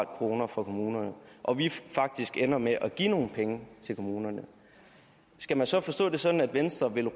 kroner fra kommunerne og vi faktisk ender med at give nogle penge til kommunerne skal man så forstå det sådan at venstre vil